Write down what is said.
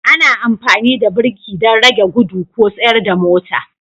Ana amfani da birki don rage gudu ko tsayar da mota